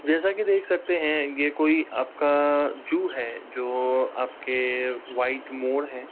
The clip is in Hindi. जैसा कि देख सकते हैं। ये कोई आपका-आ जू है जो-ऑ आपके व्हाइट मोर है।